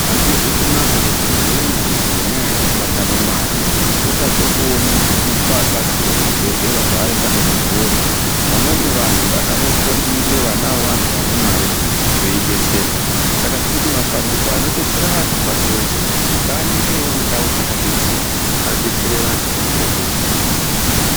Azvizi kunaka kuti umweni muntu ngendaa yekuti atadza kuona mare otadze kuone kudetserwa kuzvibhehlera zvaaifane kuenda kunodetserwa. Vamweni vantu vanafundingwe vana veantu vane mare veidetserwa. Saka, tirikuti mapandiko anodetsera vantu pashi reshe ngaaningirevo mundau dzakazvidzitsa adetserevo antu anotambudzika.